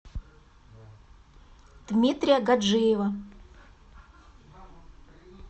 дмитрия гаджиева